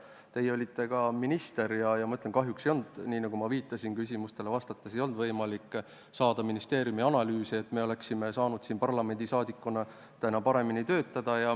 Ka teie olite minister ja ma pean ütlema, et kahjuks ei olnud – nii nagu ma küsimustele vastates olen juba maininud – võimalik saada ministeeriumist analüüse, et oleksime parlamendi liikmetena saanud paremini töötada.